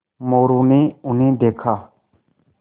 मोरू ने उन्हें देखा